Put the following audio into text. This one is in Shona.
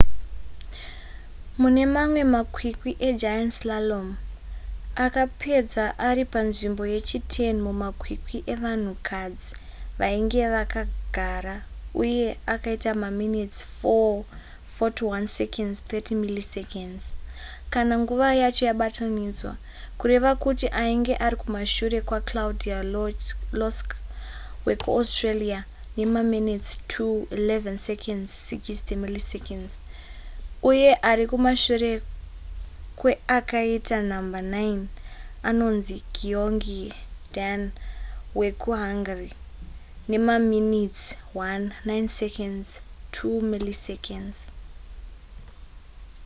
mune mamwe makwikwi egiant slalom akapedza ari panzvimbo yechi10 mumakwikwi evanhukadzi vainge vakagara uye akaita maminitsi 4: 41.30 kana nguva yacho yabatanidzwa kureva kuti ainge ari kumashure kwaclaudia loesch wekuaustria nemaminitsi 2: 11.60 uye ari kumashure kweakaita nhamba 9 anonzi gyöngyi dani wekuhungary nemamintsi 1:09.2